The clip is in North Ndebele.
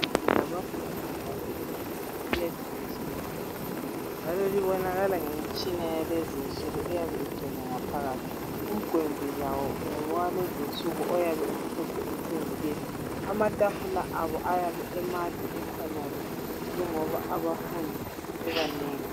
Umduli wabafundi abaseYunivesithi iyaceciswa ibe muhle njalo ubonakala ngemtshina yakulezi insuku oyabe ingcwele ngaphakathi. Umgwembe lawo ngowalezi insuku oyabe umhlophe uthe nke, amatafula abo ayabe emade ekhonale njengoba abafundi bebanengi.